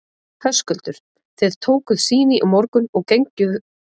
Höskuldur: Þið tókuð sýni í morgun og genguð hérna fjöruna, hver er staðan?